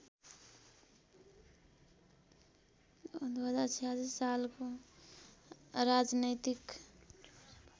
२०४६ सालको राजनैतिक